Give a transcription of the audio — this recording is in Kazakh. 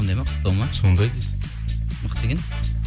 сондай дейді мықты екен